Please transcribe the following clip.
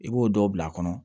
I b'o dɔw bila a kɔnɔ